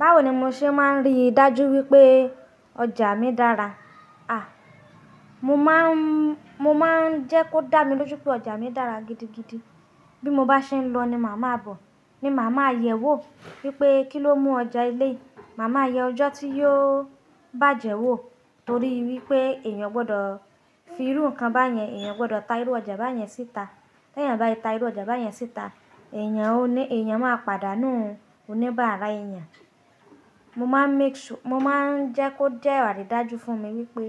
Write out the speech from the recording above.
Báwo ni mo ṣe máa ń rí dájú wípé ọjà mi dára? À, mo máa ń, mo máa ń jẹ́ kó dá mi lójú pé ọjà mi dára gidigidi. Bí mo bá ṣe ń lọ ni màá máa bọ̀, ni màá máa yẹ̀ ẹ́ wò wípé kí ló mú ọjà eleyii, màá máa yẹ ọjọ́ tí yóò bàjẹ́ wò torí wípé èèyàn ò gbọdọ̀ fi irú ǹkan bá yẹn, èèyàn ò gbọdọ̀ ta irú ọjà bá yẹn síta. Tẹ́ èèyàn bá ti ta irú ọjà bá yẹn síta, èèyàn ó ní, èèyàn máa padà nù oníbàárà èèyàn. Mo máa ń make su-- mo máa ń jẹ́ kó jẹ́ àrí dájú fún mi wípé